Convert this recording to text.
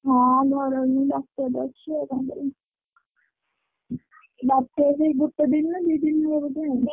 ହଁ ଘରେ ରହିମି ବାତ୍ୟା ତ ଅଛି ଆଉ କଣ କରିମି ବାତ୍ୟା ସେଇଗୁଟେ ଦିନ ନା ଦି ଦିନ ରହିବ କିଏ ଜାଣିଛି।